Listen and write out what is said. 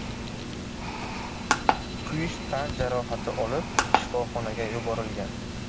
kuyish tan jarohati olib shifoxonaga yuborilgan.